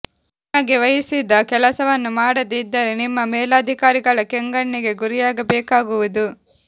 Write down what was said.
ನಿಮಗೆ ವಹಿಸಿದ ಕೆಲಸವನ್ನು ಮಾಡದೆ ಇದ್ದರೆ ನಿಮ್ಮ ಮೇಲಾಧಿಕಾರಿಗಳ ಕೆಂಗಣ್ಣಿಗೆ ಗುರಿಯಾಗಬೇಕಾಗುವುದು